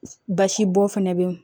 Basibɔn fɛnɛ be